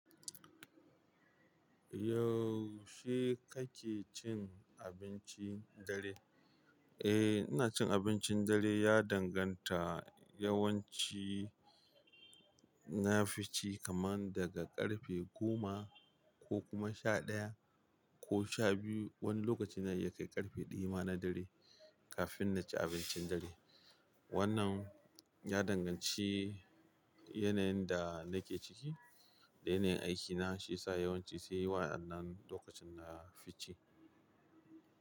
Yau she kake cin abincin dare? Eh, ina cin abincin dare ya danganta yawanci Nafi ci kaman daga ƙarfe goma ko kuma sha ɗaya ko sha biyu. Wani lokaci na iya kai ƙarfe ɗaya ma na dare kafin na ci abincin dare. Wannan ya danganci yanayin da nake ciki da yanayin aikina, shi ya sa yawanci sai wa'annan lokacin na fi ci.